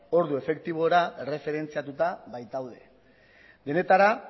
ordu efektibora erreferentziatuta baitaude denetara